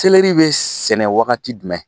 be sɛnɛ wagati dumɛn ?